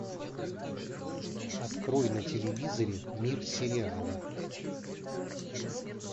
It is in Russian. открой на телевизоре мир сериала